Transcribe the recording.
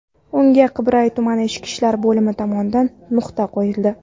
Unga Qibray tuman ichki ishlar bo‘limi tomonidan nuqta qo‘yildi.